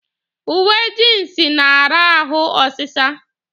Uwe jiinsi na-ara ahụ ọsịsa.